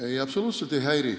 Ei, absoluutselt ei häiri.